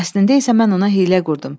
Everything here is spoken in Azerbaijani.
Əslində isə mən ona hiylə qurdum.